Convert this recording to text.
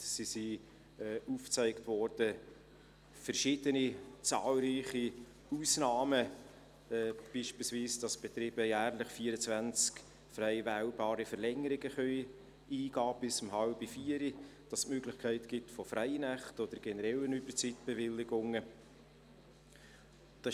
Es gibt heute verschiedene zahlreiche Ausnahmen, sie wurden aufgezeigt, beispielsweise, dass die Betriebe jährlich 24 frei wählbare Verlängerungen bis um halb vier eingehen können und dass es die Möglichkeit von Freinächten oder generellen Überzeitbewilligungen gibt.